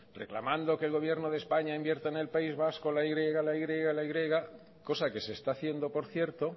reclamando que el gobierno de españa invierta en el país vasco la y la y la y cosa que se está haciendo por cierto